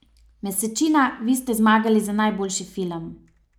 Mesečina, vi ste zmagali za najboljši film.